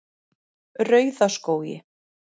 Rauðaskógi